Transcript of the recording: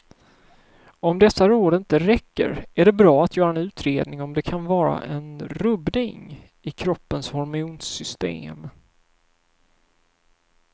Om dessa råd inte räcker är det bra att göra en utredning om det kan vara en rubbning i kroppens hormonsystem.